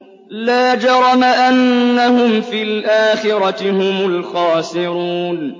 لَا جَرَمَ أَنَّهُمْ فِي الْآخِرَةِ هُمُ الْخَاسِرُونَ